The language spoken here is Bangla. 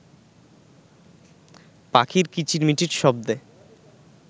পাখির কিচির-মিচির শব্দে